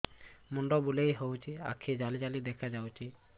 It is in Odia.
ମୁଣ୍ଡ ବୁଲେଇ ଦଉଚି ଆଖି ଜାଲି ଜାଲି ଦେଖା ଯାଉଚି